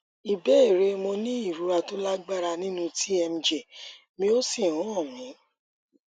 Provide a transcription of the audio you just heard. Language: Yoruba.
ìbéèrè mo ní ìrora tó lágbára nínú tmj mi ó sì ń hán mi